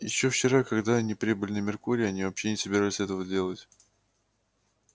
ещё вчера когда они прибыли на меркурий они вообще не собирались этого делать